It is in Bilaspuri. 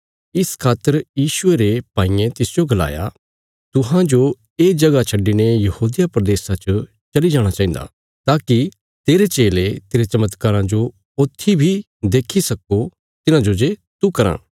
इस खातर यीशुये रे भाईयें तिसजो गलाया तुहांजो ये जगह छड्डिने यहूदिया प्रदेशा च चली जाणा चाहिन्दा ताकि तेरे चेले तेरे चमत्काराँ जो ऊत्थी बी देक्खी सक्को तिन्हांजे तू कराँ